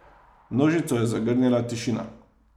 Množico je zagrnila tišina.